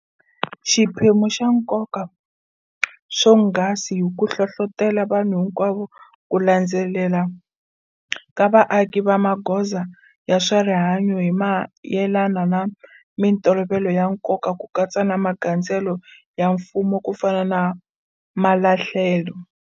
Xiphemu xa nkoka swonghasi hi ku hlohlotela vanhu hinkwavo ku landzelela ka vaaki ka magoza ya swa rihanyu hi mayelana na mitolovelo ya nkoka ku katsa na magandzelelo ya mfuwo kufana na malahlelo.